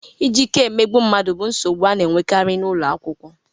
Iji ike emegbu mmadụ bụ nsogbu a na-enwekarị n'ụlọ akwụkwọ